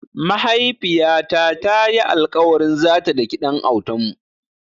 Mahaifiyata ta yi alƙawarin zata daki ɗan autanmu.